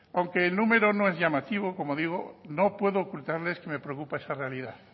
aunque el número no es llamativo como digo no puedo ocultarles que me preocupa esa realidad